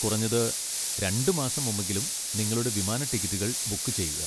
കുറഞ്ഞത് രണ്ട് മാസം മുമ്പെങ്കിലും നിങ്ങളുടെ വിമാന ടിക്കറ്റുകൾ ബുക്ക് ചെയ്യുക.